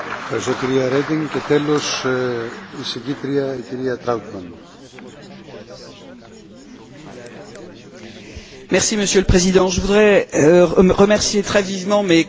Monsieur le Président, je voudrais remercier très vivement mes collègues qui ont participé à ce débat et dire que, effectivement, ils ont bien souligné le caractère périlleux, difficile,